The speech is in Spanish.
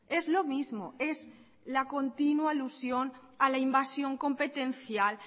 es lo mismo es la continua alusión a la invasión competencial